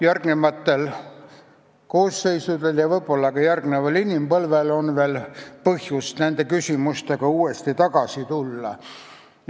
Järgmistel koosseisudel ja võib-olla ka järgmisel inimpõlvel on põhjust uuesti nende küsimuste juurde tagasi tulla.